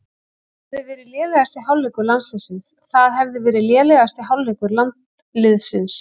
Það hefði verið lélegasti hálfleikur landsliðsins